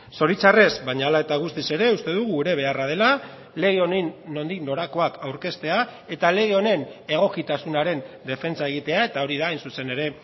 zoritxarrez baina hala eta guztiz ere uste dugu gure beharra dela lege honen nondik norakoak aurkeztea eta lege honen egokitasunaren defentsa egitea eta hori da hain zuzen ere